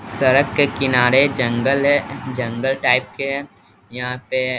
सरक के किनारे जंगल है जंगल टाइप के हैयहां पे --